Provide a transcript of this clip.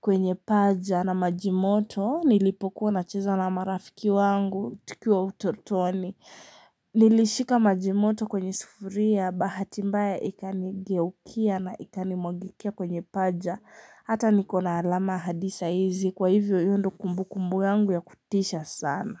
kwenye paja na maji moto nilipokuwa nacheza na marafiki wangu tukiwa utotoni Nilishika maji moto kwenye sufuria bahati mbaya ikanigeukia na ikanimwangikia kwenye paja hata nikona alama hadi saa hizi kwa hivyo hiyo ndio kumbukumbu yangu ya kutisha sana.